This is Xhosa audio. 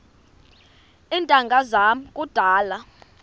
iintanga zam kudala